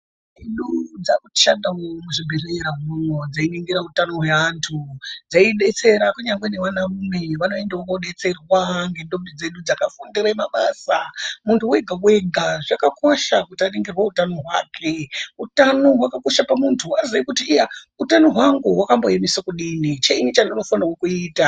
Ndombi dzakushandavo muzvibhedhlera imwomwo dzeiningira utano hweantu dzeibetsera kunyangwe nevana rume veiendavo kobetserwa ndndombi dzedu dzakafundire mabasa. Muntu vega-vega zvakakosha kuti aningirwe utano hwake. Utano hakakosha pamuntu kuti aziye kuti iya utano hwangu hwakamboemese kudini chinyi chendinofanirwe kuita.